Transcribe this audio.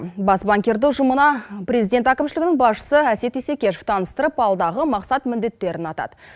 бас банкирді ұжымына президент әкімшілігінің басшысы әсет исекешов таныстырып алдағы мақсат міндеттерін атады